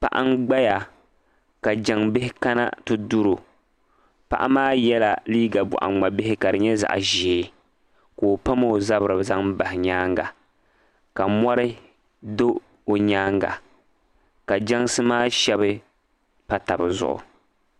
paɣa gbaya ka jaŋbihi kana ti duri o paɣa maa yɛla liiga bɔɣi ŋmabihi ka di nyɛ zaɣ'ʒee ka o pammi o zabiri zaŋ bahi nyaaŋa ka mɔri do o nyaaŋa ka jansi maa shɛba pa taba zuɣu